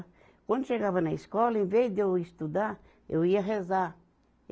Quando chegava na escola, em vez de eu estudar, eu ia rezar.